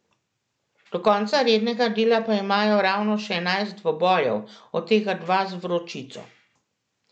Do konca rednega dela pa imajo ravno še enajst dvobojev, od tega dva z Vročico ...